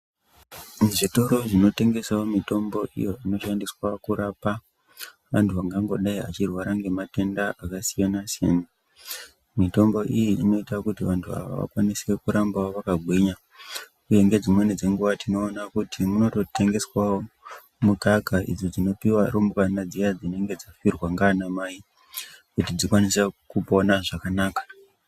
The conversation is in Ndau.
Muzvitoro zvinotengeswa mitombo iyo inoshandiswa kurapa vantu vangangodai achirwara ngematenda akasiyanasiyana mitombo iyi inoita kuti vantu ava vakwanise kuramba vakagwinya uye ngedzimweni dzenguwa tinoona kuti munototengeswawo mukaka idzo dzinopuwa rumbwana dzinonga dzafirwa ndianamai kuti dzikwanise kupona zvakanaka.